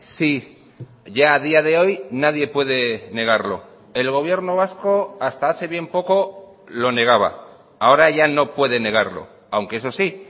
sí ya a día de hoy nadie puede negarlo el gobierno vasco hasta hace bien poco lo negaba ahora ya no puede negarlo aunque eso sí